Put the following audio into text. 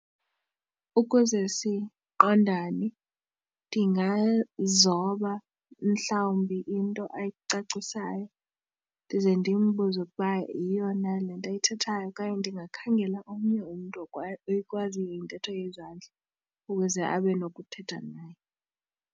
Ukuze siqondane ndingazoba mhlawumbi into ayicacisayo ndize ndimbuze ukuba yiyo na le nto ayithethayo okanye ndingakhangela omnye umntu ekwaziyo intetho yezandla ukuze abe nokuthetha naye.